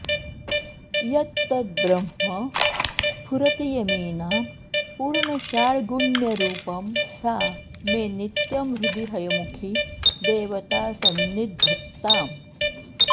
यत्तद्ब्रह्म स्फुरति यमिनां पूर्णषाड्गुण्यरूपं सा मे नित्यं हृदि हयमुखी देवता सन्निधत्ताम्